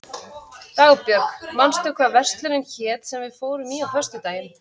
Dagbjörg, manstu hvað verslunin hét sem við fórum í á föstudaginn?